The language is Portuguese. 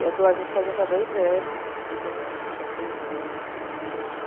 Eu estou, a gente está junto há dois anos, dois anos e três meses, quatro meses.